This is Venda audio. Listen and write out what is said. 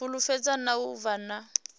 fulufhedzea na u vha na